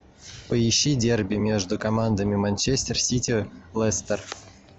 поищи дерби между командами манчестер сити лестер